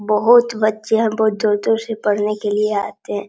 बहुत बच्चे हैं बहुत दूर-दूर से पढ़ने के लिए आते हैं।